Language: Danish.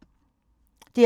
DR P2